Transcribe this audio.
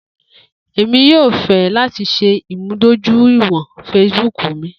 Emi yoo fẹ lati ṣe imudojuiwọn Facebook mi.